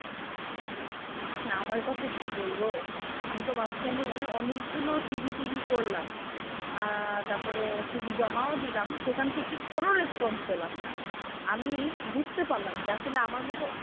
আমার কথা কি বলব আমিতো মাঝখানে অনেকগুলো CV করলাম আহ তারপরে CV জমা ও দিলাম সেখান থেকে কোন response পেলাম না আমি বুঝতে পারলাম যে আসলে আমার মত,